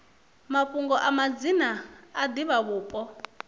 mafhungo a madzina a divhavhupo